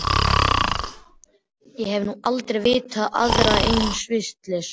Ég hef nú aldrei vitað aðra eins vitleysu.